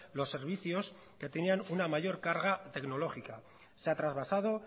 los servicios que tenían una mayor carga tecnológica se ha trasvasado